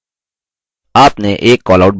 आपने एक callout बना लिया है